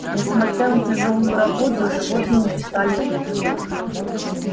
несмотря на тяжёлую работу животные не стали жить хуже